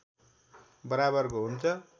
बराबरको हुन्छ